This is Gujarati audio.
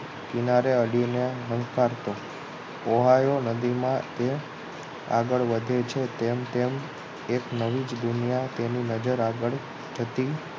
કિનારે અડીને સંતાડતો ઓહાયો નદીમા તે આગળ વધે છે તેમ તેમ એક નવી જ દુનિયા તેની નજર આગળ જતી